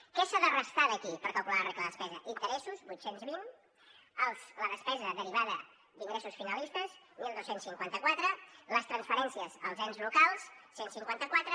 què s’ha de restar d’aquí per calcular la regla de la despesa interessos vuit cents i vint la despesa derivada d’ingressos finalistes dotze cinquanta quatre les transferències als ens locals cent i cinquanta quatre